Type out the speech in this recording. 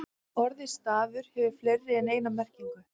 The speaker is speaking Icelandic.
Orðið stafur hefur fleiri en eina merkingu.